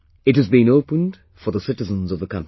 It has been opened for the citizens of the country